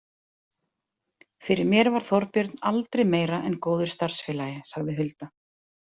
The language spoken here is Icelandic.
Fyrir mér var Þorbjörn aldrei meira en góður starfsfélagi, sagði Hulda.